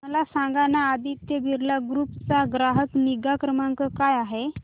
मला सांगाना आदित्य बिर्ला ग्रुप चा ग्राहक निगा क्रमांक काय आहे